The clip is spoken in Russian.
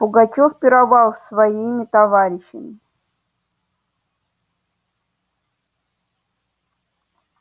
пугачёв пировал с своими товарищами